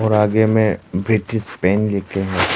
आगे में British paint है।